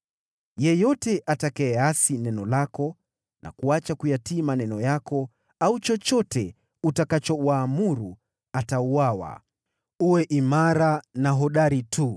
Yeyote atakayeasi neno lako na kuacha kuyatii maneno yako, au chochote utakachowaamuru, atauawa. Uwe imara na hodari tu!”